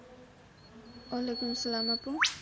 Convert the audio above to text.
অলাইকুম সালাম আপু